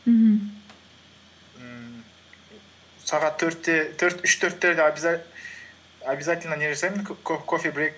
мхм ммм сағат үш төрттерде обязательно не жасаймын кофе брейк